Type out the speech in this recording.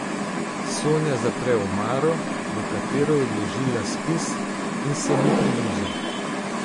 Sonja zapre omaro, v katero je odložila spis, in se mi približa.